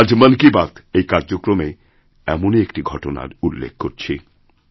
আজ মন কিবাত এই কার্যক্রমে এমনই একটি ঘটনার উল্লেখ করছি